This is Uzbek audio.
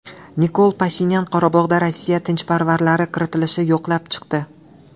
Nikol Pashinyan Qorabog‘ga Rossiya tinchlikparvarlari kiritilishini yoqlab chiqdi.